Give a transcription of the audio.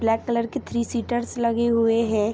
Black colour के three seaters लगे हुए है।